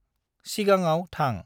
सिगांङाव थां।